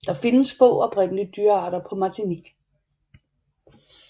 Der findes få oprindelige dyrearter på Martinique